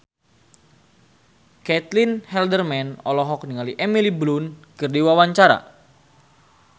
Caitlin Halderman olohok ningali Emily Blunt keur diwawancara